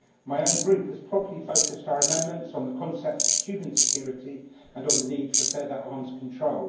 My own Group has properly focused our amendments on the concept of human security and on the need for further arms control.